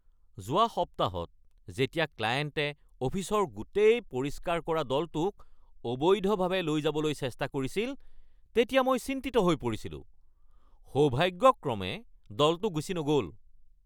যোৱা সপ্তাহত যেতিয়া ক্লায়েণ্টে অফিচৰ গোটেই পৰিষ্কাৰ কৰা দলটোক অবৈধভাৱে লৈ যাবলৈ চেষ্টা কৰিছিল তেতিয়া মই চিন্তিত হৈ পৰিছিলোঁ। সৌভাগ্যক্ৰমে দলটো গুচি নগ’ল।